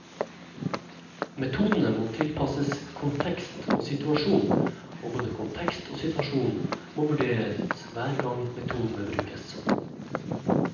Metodene må tilpasses kontekst og situasjon, og både kontekst og situasjon må vurderes hver gang metodene brukes.